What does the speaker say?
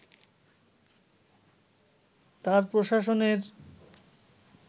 তাঁর প্রশাসনের